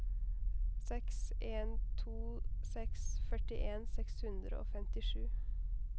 seks en to seks førtien seks hundre og femtisju